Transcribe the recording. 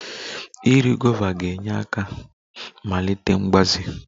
Iri guavas ga-enyere aka melite mgbaze